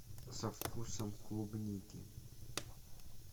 со вкусом клубники